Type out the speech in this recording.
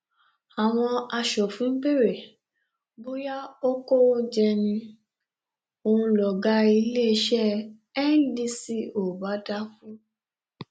àwọn aṣòfin béèrè bóyá ó kówó jẹ ni ó ń lọgá iléeṣẹ ndco bá dákú